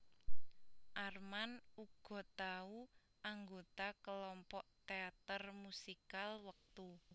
Armand uga tau anggota kelompok teater musikal wektu